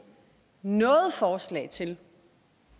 nogen forslag til